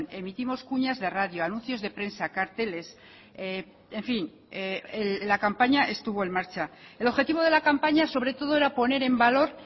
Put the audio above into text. emitimos cuñas de radio anuncios de prensa carteles en fin la campaña estuvo en marcha el objetivo de la campaña sobre todo era poner en valor